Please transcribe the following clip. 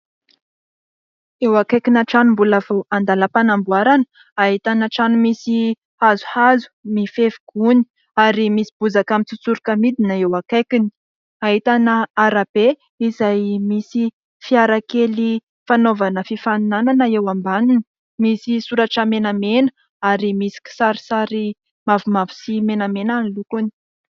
Eo akaikina trano mbola vao andalam-panamboarana ahitana trano misy hazohazo mifefy gony ary misy bozaka mitsotsoroka midina eo akaikiny. Ahitana arabe izay misy fiarakely fanaovana fifaninanana eo ambaniny, misy soratra menamena ary misy kisarisary mavomavo sy menamena ny lokony.